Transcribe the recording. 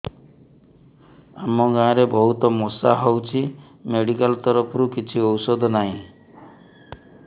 ଆମ ଗାଁ ରେ ବହୁତ ମଶା ହଉଚି ମେଡିକାଲ ତରଫରୁ କିଛି ଔଷଧ ନାହିଁ